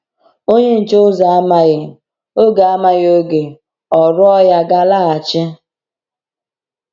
Onye nche ụzọ amaghị oge amaghị oge ọ̀rụ̀ọ̀ ya ga-alaghachi.